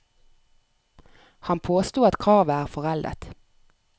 Han påsto at kravet er foreldet.